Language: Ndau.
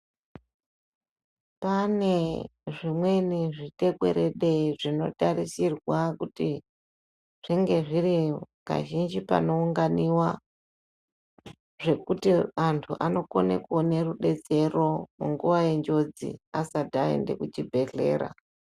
Pane zvimweni zvitekwerede zvinotarisirwa kuti zvinge zviri kazhinji panounganiva. Zvekuti antu anokone kuone rubetsero munguva yenjodzi asati aende kuchibhedhlera.